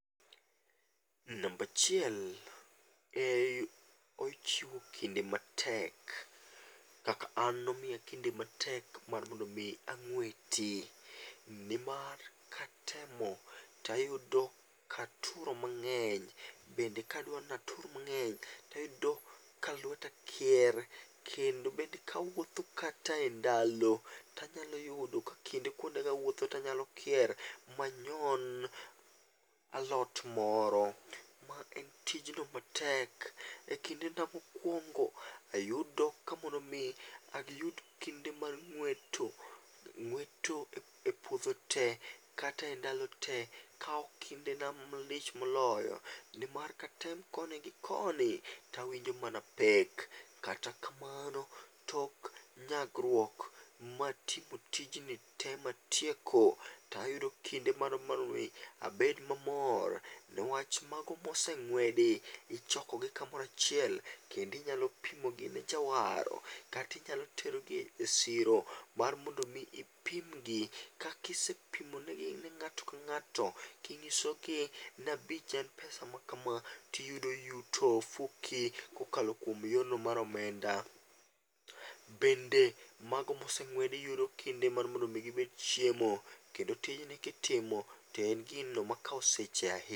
Number achiel ochiwo kinde matek kaka an ne omiya kinde matek mar mondo mi ang'weti, ni mar katemo tayudo ka aturo mange'ny, bende ka adwaro ni atur mange'ny to ayudo ka lweta kier kendo bende ka awuotho kata e ndalo to anyalo yudo ka kinde kuondego anyalo kier manyon alot moro ma en tijno matek.E kindena mokuongo' ayudo ka mondo mi ayud kinde mag ng'weto, ngweto e puotho te kata e ndalo te akawo kindema malich moloyo nimar katem koni gi koni to awinjo mana pek kata kamano tok nyagruok matieko tijni te matieko to ayudo kinde moro ma abed mamor ne wach mago moseng'wedi ichokogi kamoro achiel kendo inyalo pimogi ne jaawaro kata inyalo terogi e siro mar mondo mi ipimgi ka isepimonegi nga'to ka nga'to tinyisogi ni abich en pesa makama ti iyudo yuto e ofuki kokalo kuom yono mar omenda, bende mago modeng'wedi iyudo kinde mar mondo gibed chiemo kendo tijni kitimo to en gino makao seche ahinya.